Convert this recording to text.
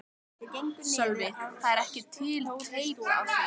Sölvi: Það er ekki til teip af því?